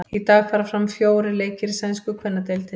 Í dag fara fram fjórir leikir í sænsku kvennadeildinni.